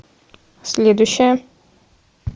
следующая